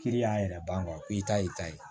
Kiri y'an yɛrɛ ban i ta y'i ta ye